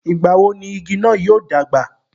ìgbà wo ni igi náà yóò dàgbà?